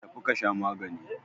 Tafi ka sha magani!